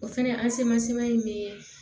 O fɛnɛ an semasiman in be